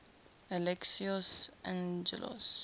alexios angelos